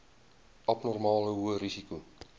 abnormale hoë risiko